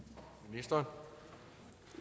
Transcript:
nej for